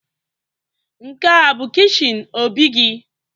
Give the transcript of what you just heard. Nke a bu kichin Obi gi?